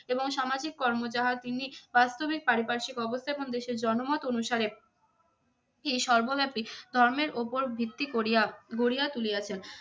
এবং সামাজিক কর্ম যাহা তিনি কাস্তবিক পারিপার্শ্বিক অবস্থা এবং দেশের জনমত অনুসারে এই সর্বব্যাপী ধর্মের উপর ভিত্তি করিয়া গড়িয়া তুলিয়াছেন।